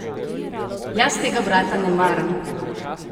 Jaz tega brata ne maram!